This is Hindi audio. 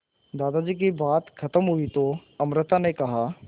दादाजी की बात खत्म हुई तो अमृता ने कहा